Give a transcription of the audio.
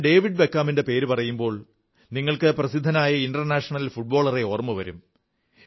ഞാൻ ഡേവിഡ് ബക്കാമിന്റെ പേരു പറയുമ്പോൾ നിങ്ങൾക്ക് പ്രസിദ്ധനായ അന്താരാഷ്ട്ര ഫുട്ബോളറെ ഓർമ്മ വരും